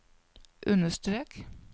understrek